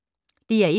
DR1